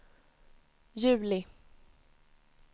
juli